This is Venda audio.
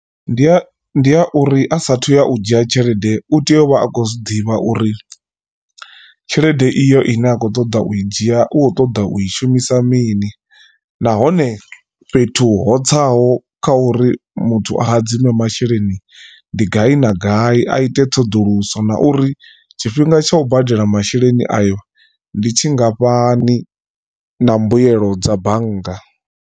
Ndi a ndi a uri a sathu ya u dzhia tshelede u tea u vha a khou zwiḓivha uri tshelede iyo ine a khou ṱoḓa u i dzhia u kho ṱoḓa u i shumisa mini nahone fhethu ho tsaho kha uri muthu a hadzime masheleni ndi gai na gai a ite ṱhoḓuluso na uri tshifhinga tsha u badela masheleni ayo ndi tshingafhani na mbuelo dza bannga.